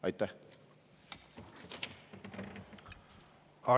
Aitäh!